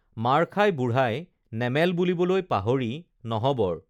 মাৰ খাই বুঢ়াই নেমেল বুলিবলৈ পাহৰি নহবৰ